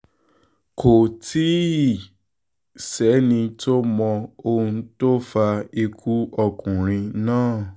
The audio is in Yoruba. kò tí ì sẹ́ni tó mọ ohun tó fa ikú ọkùnrin náà